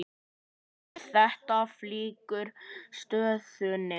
Heimir: Þetta flækir stöðuna?